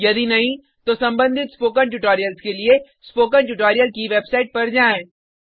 यदि नहीं तो कृपया संबंधित स्पोकन ट्यूटोरियल्स के लिए स्पोकन ट्यूटोरियल की वेबसाइट पर जाएँ